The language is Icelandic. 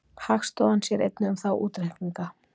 Hagstofan sér einnig um þá útreikninga.